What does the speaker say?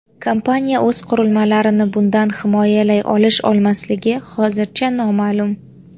Kompaniya o‘z qurilmalarini bundan himoyalay olish-olmasligi hozircha noma’lum.